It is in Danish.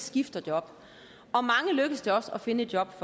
skifter job og lykkes det også at finde et job